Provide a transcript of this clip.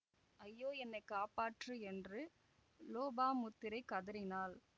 ஐயோ என்னை காப்பாற்று என்று லோபாமுத்திரை கதறினாள்